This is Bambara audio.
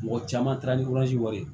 Mɔgɔ caman taara ni wɛrɛ ye